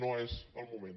no és el moment